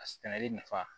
A sɛnɛli nafa